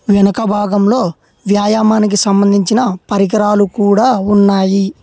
వెనకభాగంలో వ్యాయామానికి సంబంధించిన పరికరాలు కూడా ఉన్నాయి.